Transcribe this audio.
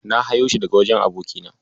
Na hayo shi daga wajen abokina.